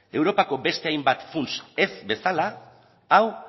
europako beste hainbat funts ez bezala hau